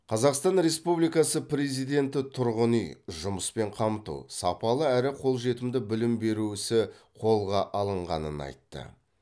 қазақстан республикасы президенті тұрғын үй жұмыспен қамту сапалы әрі қолжетімді білім беру ісі қолға алынғанын айтты